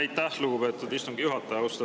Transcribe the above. Aitäh, lugupeetud istungi juhataja!